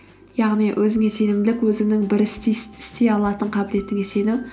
яғни өзіңе сенімділік өзіңнің бір істі істей алатын қабілетіңе сену